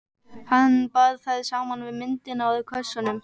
Hann bar þær saman við myndirnar úr kössunum.